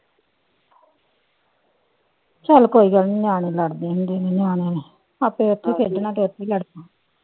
ਚੱਲ ਕੋਈ ਗਲੱ ਨੀ ਨਿਆਣੇ ਲੜਦੇ ਹੁੰਦੇ ਨੇ ਨਿਆਣੇ ਆਪੇ ਉੱਥੇ ਖੇਲਣਾ ਤੇ ਉੱਥੇ ਹੀ ਲੜ ਪੈਣਾ।